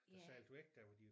Og sejlet væk der hvor de